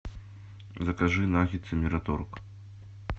закажи наггетсы мираторг